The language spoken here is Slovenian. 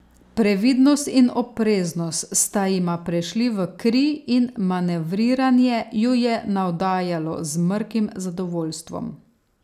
Previdnost in opreznost sta jima prešli v kri in manevriranje ju je navdajalo z mrkim zadovoljstvom.